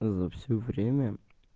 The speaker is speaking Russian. за всё время